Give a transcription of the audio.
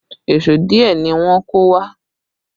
Èṣó díẹ̀ ni wọ́n kó wá